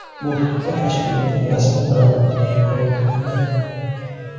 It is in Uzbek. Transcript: Bu haqda tashkilotning rasmiy bayonotida ma’lum qilindi .